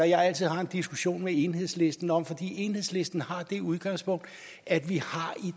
jeg altid har en diskussion med enhedslisten om for enhedslisten har det udgangspunkt at vi i